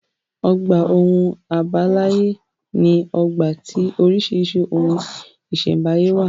Ọgbà ohun àbáláyé ní ọgbà tí oríṣìíríṣìí ohun ìṣẹ̀m̀báyé wà.